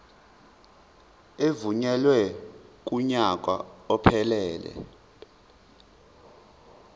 evunyelwe kunyaka ophelele